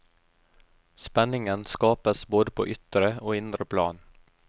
Spenningen skapes både på ytre og indre plan.